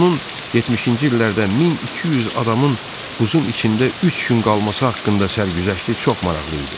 Onun 70-ci illərdə 1200 adamın buzun içində üç gün qalması haqqında sərgüzəşti çox maraqlı idi.